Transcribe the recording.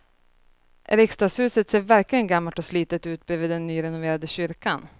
Riksdagshuset ser verkligen gammalt och slitet ut bredvid den nyrenoverade kyrkan.